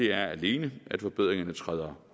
er alene at forbedringerne træder